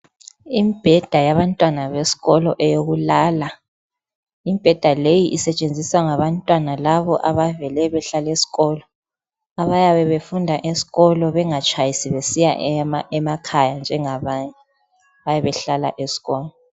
Imibheda yabantwana besikolo eyokulala. Imibheda leyi isetshenziswa ngabantwana labo abavele behlala esikolo abayabe befunda esikolo bengatshayisi besiya emakhaya njengabanye. Bayabe behlala esikolo.